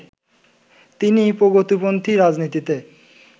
তিনি প্রগতিপন্থী রাজনীতিতে